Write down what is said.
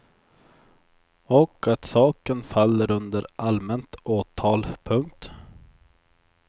Och att saken faller under allmänt åtal. punkt